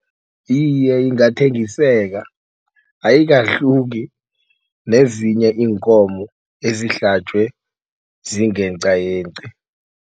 Iye, ingathengiseka ayikahluki nezinye iinkomo ezihlatjwe zingeqayeqi.